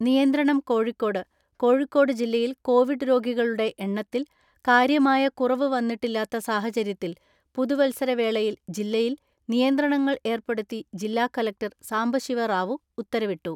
നിയന്ത്രണം കോഴിക്കോട് കോഴിക്കോട് ജില്ലയിൽ കോവിഡ് രോഗികളുടെ എണ്ണത്തിൽ കാര്യമായ കുറവ് വന്നിട്ടില്ലാത്ത സാഹചര്യത്തിൽ പുതുവത്സര വേളയിൽ ജില്ലയിൽ നിയന്ത്രണങ്ങൾ ഏർപ്പെടുത്തി ജില്ലാ കലക്ടർ സാംബശിവ റാവു ഉത്തരവിട്ടു.